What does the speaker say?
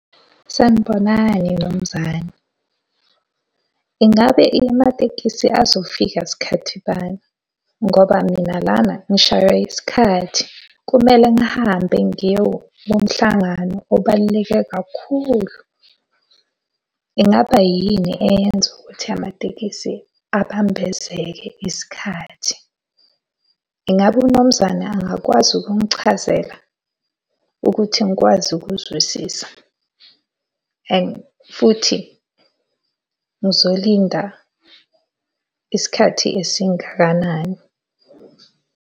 Sanibonani Mnumzane. Ingabe amatekisi azofika sikhathi bani? Ngoba mina lana ngishayiwa isikhathi. Kumele ngihambe ngiyo kumhlangano obaluleke kakhulu. Ingaba yini eyenza ukuthi amatekisi abambezeke isikhathi? Ingabe uMnumzane angakwazi ukungichazela ukuthi ngikwazi ukuzwisisa and futhi ngizolinda isikhathi esingakanani?